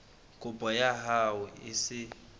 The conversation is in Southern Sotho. kopo ya hao e se